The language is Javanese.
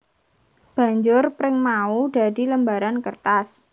Banjur pring mau dadi lembaran kertas